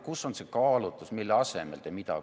Kus on see kaalutlus, mille asemel te mida tegite?